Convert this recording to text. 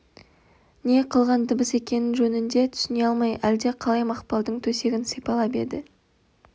не қылған дыбыс екенін жөнді түсіне алмай әлде қалай мақпалдың төсегін сипалап еді